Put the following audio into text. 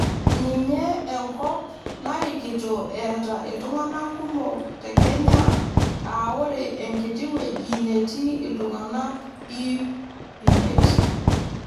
Ninye enkop narikito eeta iltung'ana kumok te kenya aa ore enkiti wueji netii iltung'ana ip imiet.